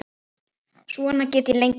Svona get ég lengi talið.